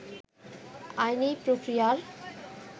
আইনি প্রক্রিয়ার